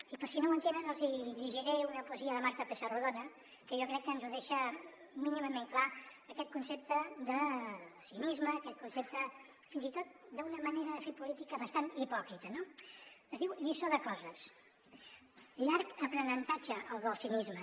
i per si no ho entenen els hi llegiré una poesia de marta pessarrodona que jo crec que ens deixa mínimament clar aquest concepte de cinisme aquest concepte fins i tot d’una manera de fer política bastant hipòcrita no es diu lliçó de coses llarg aprenentatge el del cinisme